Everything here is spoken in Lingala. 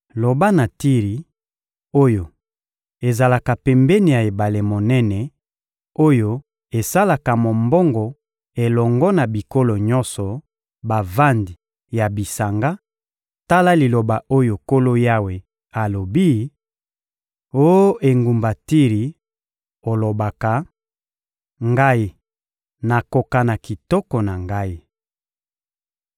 Loba na Tiri oyo ezalaka pembeni ya ebale monene, oyo esalaka mombongo elongo na bikolo nyonso, bavandi ya bisanga: ‹Tala liloba oyo Nkolo Yawe alobi: Oh engumba Tiri, olobaka: ‘Ngai, nakoka na kitoko na ngai!’